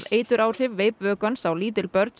eituráhrif veipvökvans á lítil börn